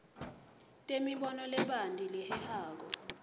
temibono lebanti lehehako